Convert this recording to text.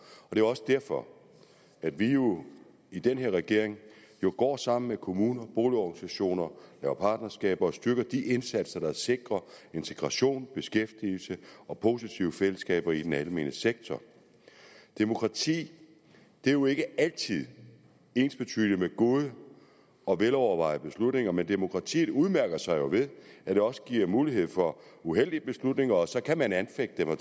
det er også derfor at vi jo i den her regering går sammen med kommuner og boligorganisationer og laver partnerskaber og styrker de indsatser der sikrer integration beskæftigelse og positive fællesskaber i den almene sektor demokrati er jo ikke altid ensbetydende med gode og velovervejede beslutninger men demokratiet udmærker sig jo ved at det også giver mulighed for uheldige beslutninger så kan man anfægte dem og